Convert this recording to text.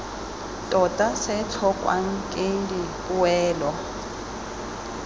tota se tlhokwang ke dipoelo